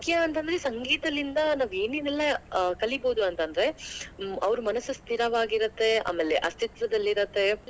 ಮುಖ್ಯ ಅಂತಂದ್ರೆ ಸಂಗೀತದಿಂದ ನಾವ್ ಏನೇನ್ ಎಲ್ಲ ಕಲೀಬೋದು ಅಂತಂದ್ರೆ. ಆ ಅವ್ರ್ ಮನಸು ಸ್ಥಿರವಾಗಿರುತ್ತೆ ಆಮೇಲೆ ಅಸ್ತಿತ್ವದಲ್ಲಿರುತ್ತೆ.